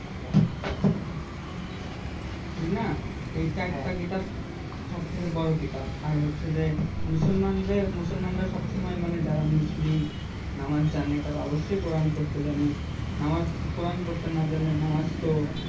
ঠিক না এই চারটা হ্যাঁ হ্যাঁ কিতাব সবথেকে বড়ো কিতাব আর হচ্ছে যে মুসলমানদের মুসলমানরা সমসময় মানে যারা মুসলিম নামাজ জানে তারা অবশ্যই কোরান পড়তে জানে নামাজ কোরান পড়তে না জানলে নামাজ তো